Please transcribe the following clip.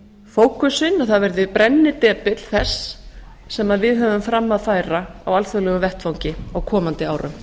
fókusinn að það verði brennidepill þess sem við höfum fram að færa á alþjóðlegum vettvangi á komandi árum